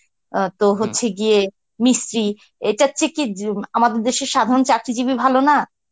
অ্যাঁ তো হচ্ছে গিয়ে মিস্ত্রি এটা হচ্ছে কি উম আমাদের দেশের সাধারণ চাকরিজীবী ভালো না,